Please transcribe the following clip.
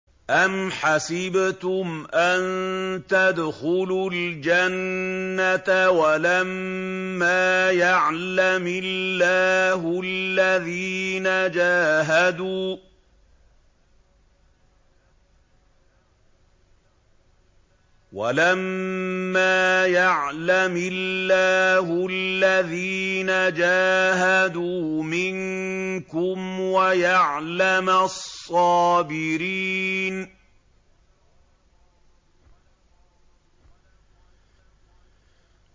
أَمْ حَسِبْتُمْ أَن تَدْخُلُوا الْجَنَّةَ وَلَمَّا يَعْلَمِ اللَّهُ الَّذِينَ جَاهَدُوا مِنكُمْ وَيَعْلَمَ الصَّابِرِينَ